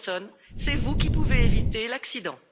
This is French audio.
Johnson, c'est vous qui pouvez éviter l'accident.